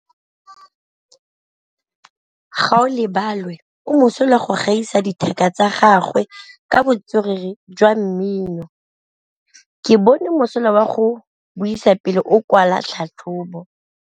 Gaolebalwe o mosola go gaisa dithaka tsa gagwe ka botswerere jwa mmino. Ke bone mosola wa go buisa pele o kwala tlhatlhobô.